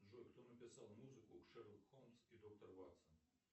джой кто написал музыку шерлок холмс и доктор ватсон